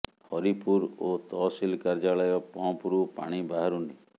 ହରିପୁର ଓ ତହସିଲ କାର୍ଯ୍ୟାଳୟ ପମ୍ପ ରୁ ପାଣି ବାହାରୁନି